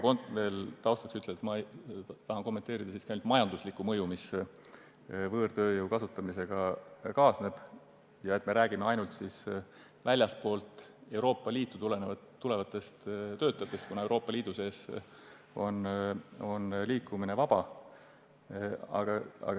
Kõigepealt ütlen taustaks, et tahan kommenteerida siiski ainult majanduslikku mõju, mis võõrtööjõu kasutamisega kaasneb, ja et me räägime ainult väljastpoolt Euroopa Liitu tulevatest töötajatest, kuna Euroopa Liidu sees on liikumine vaba.